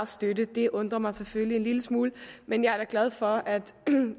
støtte det undrer mig selvfølgelig en lille smule men jeg er da glad for at